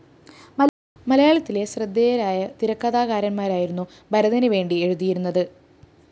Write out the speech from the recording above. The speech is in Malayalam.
മലയാളത്തിലെ ശ്രദ്ധേയരായ തിരക്കഥാകാരന്മാരായിരുന്നു ഭരതന് വേണ്ടി എഴുതിയിരുന്നത്